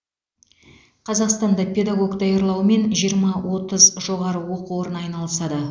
қазақстанда педагог даярлаумен жиырма отыз жоғары оқу орны айналысады